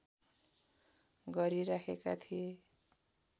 गरिराखेका थिए